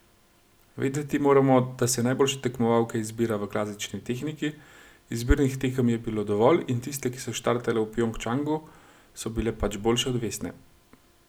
Vedeti moramo, da se najboljše tekmovalke izbira v klasični tehniki, izbirnih tekem je bilo dovolj in tiste, ki so štartale v Pjongčangu, so bile pač boljše od Vesne.